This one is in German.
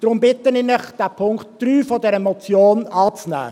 Deshalb bitte ich Sie, den Punkt 3 der Motion anzunehmen.